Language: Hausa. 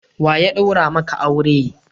Wa ya daura maka aure?